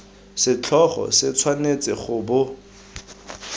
setlhogo se tshwanetse go bo